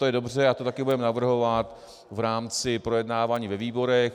To je dobře a to také budeme navrhovat v rámci projednávání ve výborech.